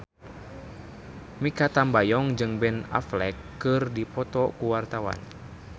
Mikha Tambayong jeung Ben Affleck keur dipoto ku wartawan